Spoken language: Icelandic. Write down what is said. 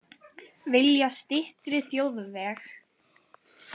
Vilja styttri þjóðveg